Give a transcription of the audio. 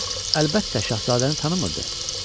Qız, əlbəttə, şahzadəni tanımırdı.